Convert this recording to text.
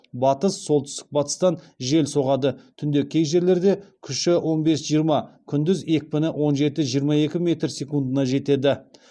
батыс солтүстік батыстан жел соғады түнде кей жерлерде күші он бес жиырма күндіз екпіні он жеті жиырма екі метр секундына жетеді